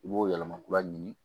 I b'o yɛlɛma kura ɲini